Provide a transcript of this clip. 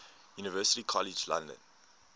university college london